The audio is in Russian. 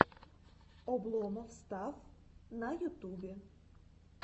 обломов стафф на ютубе